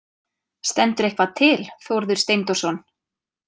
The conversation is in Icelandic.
Stendur eitthvað til, Þórður Steindórsson?